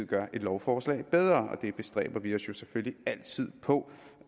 gøre et lovforslag bedre og det bestræber vi os jo selvfølgelig altid på